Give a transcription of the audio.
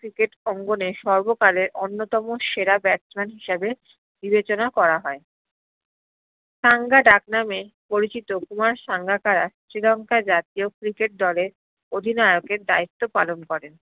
cricket অঙ্গনে সর্ব্কালে অন্যতম সেরা batsman হিসাবে বিবেচনা করা হয়ে সাঙ্গা ডাক নামে পরিচিত কুমার সাঙ্গাকারা শ্রীলংকার জাতিয় cricket দলের অধিনয়কের দায়িত্ব পালন করেন